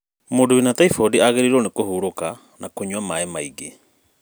Mũndũ wĩna taimbodi agĩrĩirwo kũhurũka na kũnywa ma maingī.